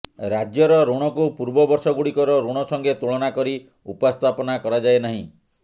ରାଜ୍ୟର ୠଣକୁ ପୁର୍ବ ବର୍ଷଗୁଡିକର ୠଣ ସଙ୍ଗେ ତୁଳନା କରି ଉପସ୍ଥାପନା କରାଯାଏ ନାହିଁ